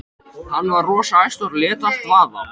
Hann var rosa æstur og lét allt vaða.